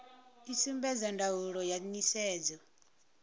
i sumbedza ndaulo ya nisedzo